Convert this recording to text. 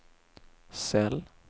cell